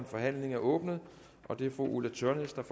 forhandlingen er åbnet og det er fru ulla tørnæs der